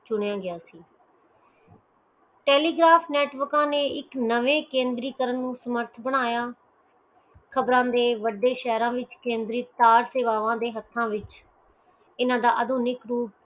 ਚੁਣਿਆ ਗਿਆ ਸੀ telegraph ਨੈਟਵਰਕਾਂ ਨੇ ਇਕ ਨਵੇਂ ਕੰਦਰਿਕਰਨ ਨੂੰ ਸਮਰਥ ਬਣਾਇਆ ਖ਼ਬਰਾਂ ਦੇ ਵਡੇ ਸ਼ਹਿਰਾਂ ਵਿਚ ਕੈਂਦਰੀਕਾਰ ਸੇਵਾਵਾਂ ਦੇ ਹੱਥਾਂ ਵਿਚ ਇਹਨਾਂ ਦਾ ਆਧੁਨਿਕ